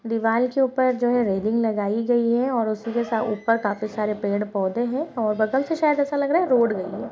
दिवाल के ऊपर जो है रेलिंग लगाई गई है और उसी के सा-ऊपर काफी सारे पेड़-पौधे है और बगल से शायद ऐसा लग रहा है रोड मे है।